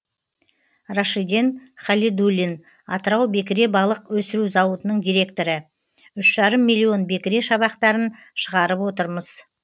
рашиден халидуллин атырау бекіре балық өсіру зауытының директоры үш жарым миллион бекіре шабақтарын шығарып отырмыз